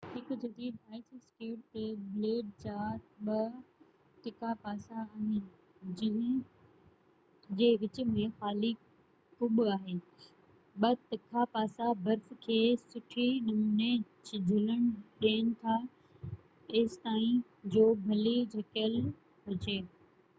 هڪ جديد ice skate تي بليڊ جا ٻہ تکا پاسا آهن جنهن جي وچ ۾ خالي کٻ آهي ٻہ تکا پاسا برف کي سٺي نموني جهلڻ ڏين ٿا ايستائين جو ڀلي جهڪيل هجي